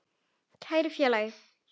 Kæri félagi.